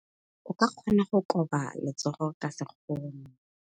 O ka kgona go koba letsogo ka sekgono.